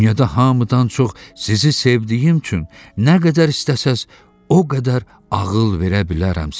Dünyada hamıdan çox sizi sevdiyim üçün nə qədər istəsəz o qədər ağıl verə bilərəm sizə.